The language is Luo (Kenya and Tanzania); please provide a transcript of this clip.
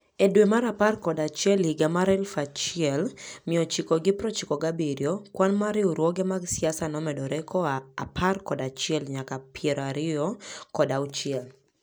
E dwe mar apar kod achiel higa 1997, kwan mar riwruoge mag siasa nomedore koa apar kod achiel nyaka piero ariyo kod auchiel.